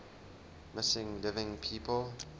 missing living people